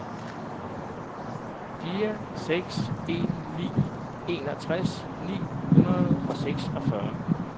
fire seks en ni enogtres ni hundrede og seksogfyrre